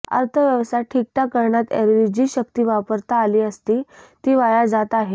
अर्थव्यवस्था ठीकठाक करण्यात एरवी जी शक्ती वापरता आली असती ती वाया जाते आहे